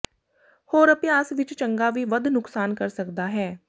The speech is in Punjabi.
ਹੋਰ ਅਭਿਆਸ ਵਿੱਚ ਚੰਗਾ ਵੀ ਵੱਧ ਨੁਕਸਾਨ ਕਰ ਸਕਦਾ ਹੈ